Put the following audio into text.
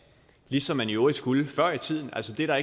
ligesom man i øvrigt skulle før i tiden så det er der